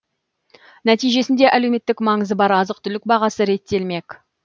нәтижесінде әлеуметтік маңызы бар азық түлік бағасы реттелмек